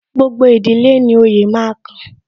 Gbogbo ìdílé ni oyè máa kan